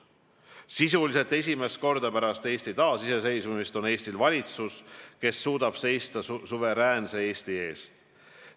Sisuliselt esimest korda pärast Eesti taasiseseisvumist on meil valitsus, kes suudab seista suveräänse Eesti eest.